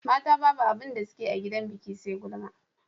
mata Babu abinda sukeyi a gidan biki SE gulma